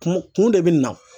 Kun kun de bɛ na.